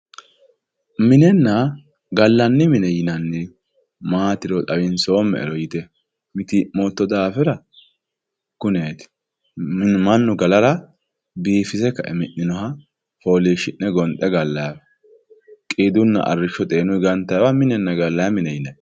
minenna gallanni mine yinannihu maatiro yite mitiimmotto daafira kuneeti mannu galara biifise kae minninoha fooliishshi'ne gonxe gallanniwa qiidunna arrishshotenni gantanniha minenna gallanni mineeti yinanni.